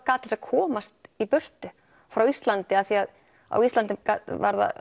gat til að komast í burtu frá Íslandi af því að á Íslandi var það